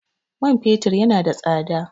Man fetur yana da tsada.